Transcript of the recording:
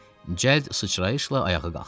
Cəld sıçrayışla ayağa qalxdı.